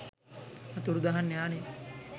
අතුරුදහන් යානය